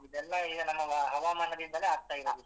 ಇದೆಲ್ಲ ಈಗ ನಮ್ಮ ಹವಾಮಾನದಿಂದಲೇ ಆಗ್ತಾ ಇರೋದು ಇದೆಲ್ಲ.